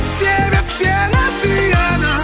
себеп сені сүйеді